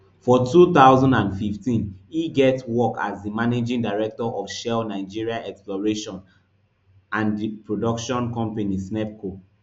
for two thousand and fifteen e get work as di managing director of shell nigeria exploration and production company snepco